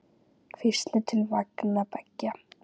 Hvísl til vanga beggja?